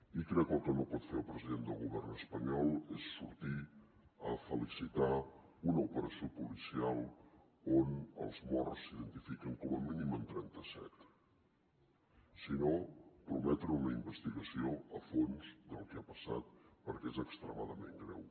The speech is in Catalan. i crec que el que no pot fer el president de govern espanyol és sortir a felicitar una operació policial on els morts s’identifiquen com a mínim en trenta set sinó prometre una investigació a fons del que ha passat perquè és extremadament greu